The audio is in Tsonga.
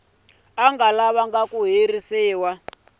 nga vanga ku herisiwa ka